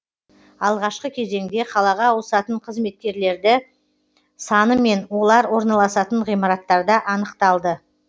алғашқы кезеңде қалаға ауысатын қызметкерлерді саны мен олар орналасатын ғимараттарда анықталды